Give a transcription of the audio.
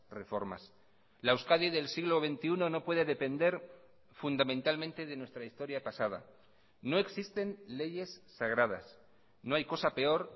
reformas la euskadi del siglo veintiuno no puede depender fundamentalmente de nuestra historia pasada no existen leyes sagradas no hay cosa peor